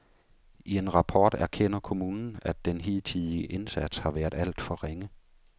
I en rapport erkender kommunen, at den hidtidige indsats har været alt for ringe.